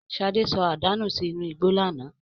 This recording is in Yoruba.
Ṣadé sọ àdá nù sí inú igbó lánàá.